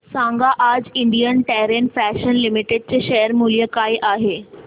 सांगा आज Indian Terrain Fashions Limited चे शेअर मूल्य काय आहे